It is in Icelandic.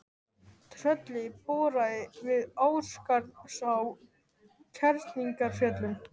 Trölli boraði við Ásgarðsá í Kerlingarfjöllum.